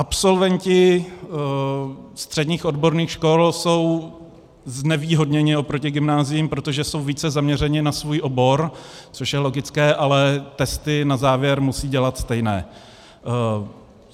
Absolventi středních odborných škol jsou znevýhodněni oproti gymnáziím, protože jsou více zaměřeni na svůj obor, což je logické, ale testy na závěr musí dělat stejné.